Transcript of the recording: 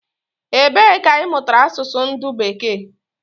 Ebe ka imutara asusu ndu beeke?